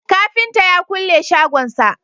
kafinta ya kulle shagon sa